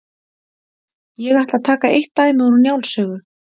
Ég ætla að taka eitt dæmi úr Njáls sögu.